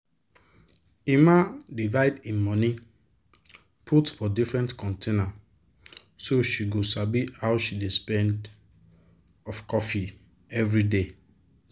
emma divide e money put for different container so she go sabi how she dey spend of coffee everyday.